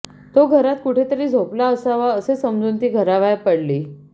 तो घरात कुठेतरी झोपला असावा असे समजून ती घराबाहेर पडली